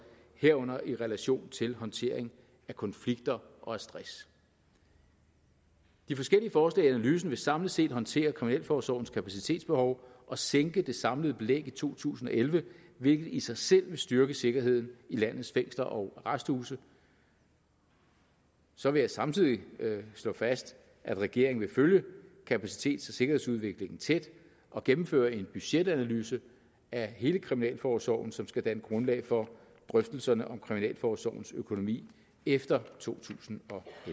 herunder i relation til håndtering af konflikter og stress de forskellige forslag i analysen vil samlet set håndtere kriminalforsorgens kapacitetsbehov og sænke det samlede belæg i to tusind og elleve hvilket i sig selv vil styrke sikkerheden i landets fængsler og arresthuse så vil jeg samtidig slå fast at regeringen vil følge kapacitets og sikkerhedsudviklingen tæt og gennemføre en budgetanalyse af hele kriminalforsorgen som skal danne grundlag for drøftelserne om kriminalforsorgens økonomi efter totusinde